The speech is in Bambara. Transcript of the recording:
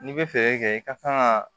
N'i bɛ fɛɛrɛ kɛ i ka kan ka